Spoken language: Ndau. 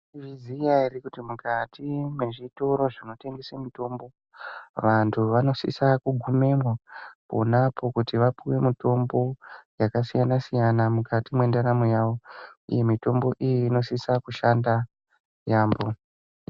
Maizviziya ere kuti mukati mwezvitoro zvinotengesa mitombo. Vantu vanosise kugumemwo ponapo kuti vapuve mutombo vakasiyana-siyana, mukati mwendaramo yavo, uye mitombo iyi inosisa kushanda yaambo.